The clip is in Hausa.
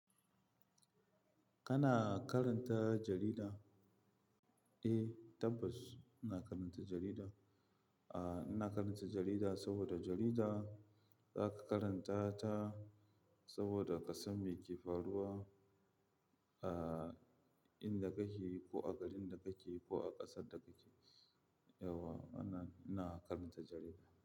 Kana karanta jarida? Eh tabbas ina karanta jarida. Aaa, ina karanta jarida saboda jarida za ka karanta ta saboda ka san me ke faruwa, aaa, inda kake ko a garin da kake ko a ƙasar da kake. Yau ana, ina karanta jarida.